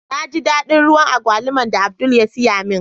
Na ji dadin ruwan Agwaluman da Abdul ya siya min.